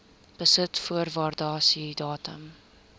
besit voor waardasiedatum